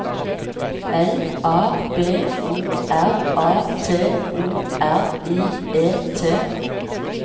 L A B O R A T O R I E T